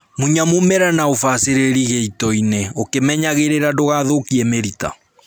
Munya mũmera na ũbacĩrĩri gĩitoinĩ ũkĩmenyagĩrĩra ndũgathũkie mĩrita